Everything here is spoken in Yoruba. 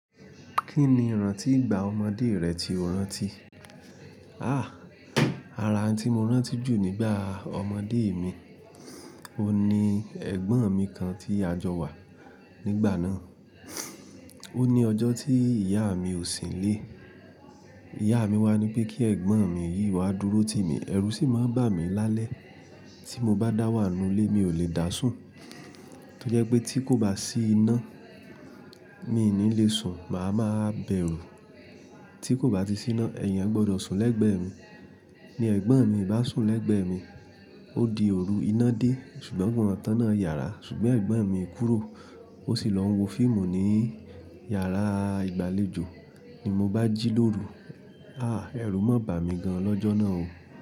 Kí ni ìrántí ìgbà ọmọdé rẹ tí o rántí? Àh! Ara tí mo rántí jù nígbà ọmọdé mi, oun ní ẹgbọn mi kan tí a jọ wa nígbà náà. O ní ọjọ́ tí ìyá mi ò sí nílé. Ìyá mi wà nípe kí ẹ̀gbọ́n mi yìí wá dúró ti mi. Ẹ̀rù sì máa ń bà mí lálẹ́. Tí mo bá dá wà nù ilé mi ò lè dá sùn. Tí ó jẹ́ pé tí kò bá sí iná, mi ní le sùn, màá máa bẹ̀rù. Tí kò bá ti sí iná, èèyàn gbọdọ̀ sùn lẹ́gbẹ̀ẹ́ mi. Ni ẹ̀gbọ́n mi bá sùn lẹ́gbẹ̀ẹ́ mi, ó di òru iná dé ṣùgbọ́n gbọn tán náà yàrá ṣùgbọ́n ẹ̀gbọ́n mi kúrò. O sì lọ wo fíìmù ní yàrá ìgbàlejò. Ni mo bá jí lóru, àh! Ẹ̀rù máa bà mí gan lọ́jọ́ náà o.